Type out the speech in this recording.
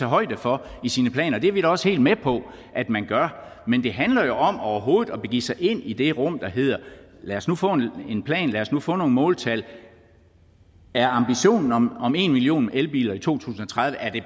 højde for i sine planer og det er vi da også helt med på at man gør men det handler om overhovedet at begive sig ind i det rum der hedder lad os nu få en plan lad os nu få nogle måltal er ambitionen om om en million elbiler i to tusind og tredive